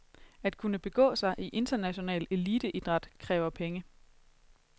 At kunne begå sig i international eliteidræt kræver penge.